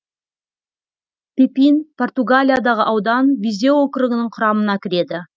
пепин португалиядағы аудан визеу округінің құрамына кіреді